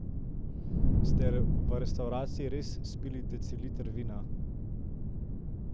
Ste v restavraciji res spili deciliter vina?